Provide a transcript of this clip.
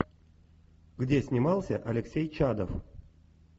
где снимался алексей чадов